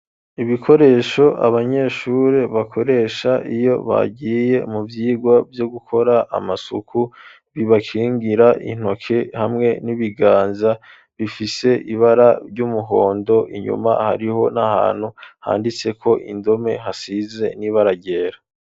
Ibikoresho abanyeshuri bakoresha iyo bagiye mu byigwa byo gukora amasuku bibakingira intoke hamwe n'ibiganza bifise ibara ry'umuhondo inyuma hariho n'ahantu handitse ko indome hasize n'ibara ryera.